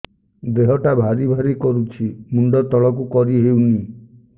ଦେହଟା ଭାରି ଭାରି କରୁଛି ମୁଣ୍ଡ ତଳକୁ କରି ହେଉନି